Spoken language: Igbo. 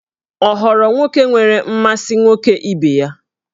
Ọ ghọrọ nwoke nwere mmasị nwoke ibe ya?